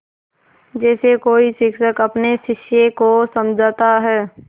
जैसे कोई शिक्षक अपने शिष्य को समझाता है